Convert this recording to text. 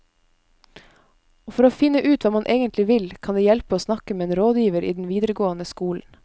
Og for å finne ut hva man egentlig vil, kan det hjelpe å snakke med en rådgiver i den videregående skolen.